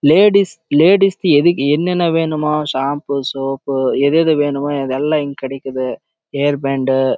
ladies கு என என வேணும் ஒ அது இங்க கெடைக்காது